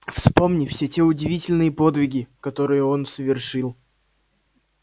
вспомни все те удивительные подвиги которые он совершил